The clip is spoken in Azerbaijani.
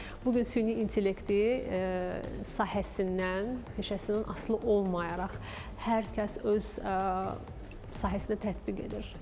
Bu gün süni intellekti sahəsindən, peşəsindən asılı olmayaraq hər kəs öz sahəsində tətbiq edir.